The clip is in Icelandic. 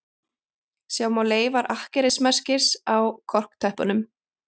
Sjá má leifar akkerismerkis á korktöppunum